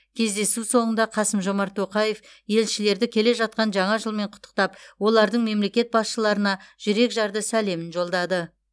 кездесу соңында қасым жомарт тоқаев елшілерді келе жатқан жаңа жылмен құттықтап олардың мемлекет басшыларына жүрекжарды сәлемін жолдады